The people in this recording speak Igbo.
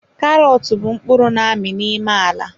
Karọt bụ mkpụrụ n'ami n'ime ala.